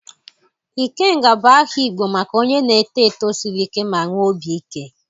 Ikenga bụ aha Igbo maka onye na-eto eto siri ike ma nwee obi ike.